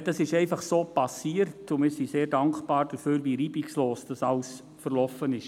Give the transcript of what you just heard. Dieser Wechsel ist einfach so passiert, und wir sind sehr dankbar dafür, wie reibungslos, er verlaufen ist.